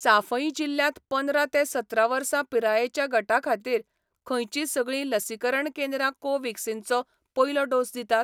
चांफई जिल्ल्यांत पंदरा ते सतरा वर्सां पिरायेच्या गटा खातीर खंयचीं सगळीं लसीकरण केंद्रां कोव्हॅक्सिनचो पयलो डोस दितात?